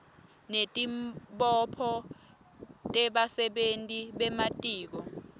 netibopho tebasebenti bematiko